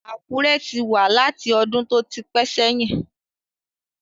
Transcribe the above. Àkúré ti wà láti ọdún tó ti pẹ́ sẹ́yìn